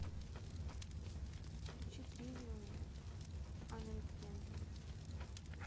включи тривиум анрепентант